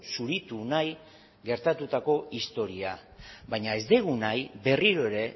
zuritu nahi gertatutako historia baina ez dugu nahi berriro ere